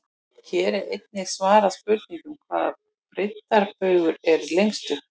Hér er einnig svarað spurningunum: Hvaða breiddarbaugur er lengstur?